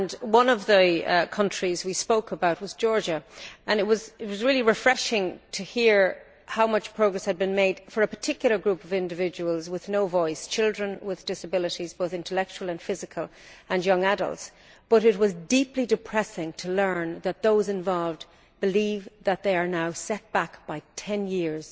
One of the countries we spoke about was Georgia, and it was really refreshing to hear how much progress had been made for a particular group of individuals with no voice children with disabilities, both intellectual and physical, and young adults but also deeply depressing to learn that those involved believe that they are now set back by 10 years